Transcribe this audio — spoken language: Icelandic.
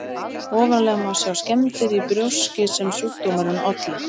Ofarlega má sjá skemmdir í brjóski sem sjúkdómurinn olli.